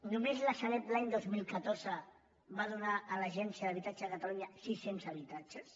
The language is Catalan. només la sareb l’any dos mil catorze va donar a l’agència de l’habitatge de catalunya siscents habitatges